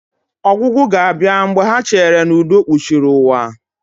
Ọgwụgwụ ga-abịa mgbe ha cheere na udo kpuchiri ụwa